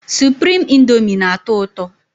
Suprime índomi na- atọ ụtọ